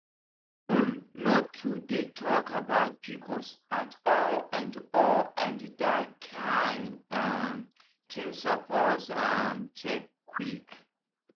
school no too dey talk about pcos at all and all and that kain um thing suppose um change quick.